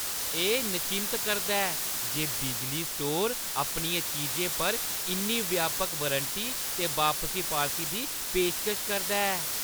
एह् नचिंत करदा ऐ जे बिजली स्टोर अपनियें चीजें पर इन्नी व्यापक वारंटी ते बापसी पालसी दी पेशकश करदा ऐ।